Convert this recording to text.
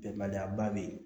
Bɛnbaliya ba bɛ yen